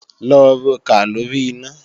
Lọ rokà lóri iná!